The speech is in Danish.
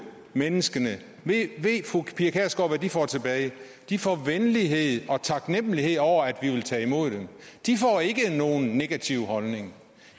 menneskene får tilbage de får venlighed og taknemlighed over at vi vil tage imod dem de får ikke nogen negativ holdning